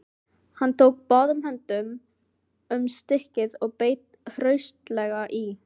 Hann tók báðum höndum um stykkið og beit hraustlega í.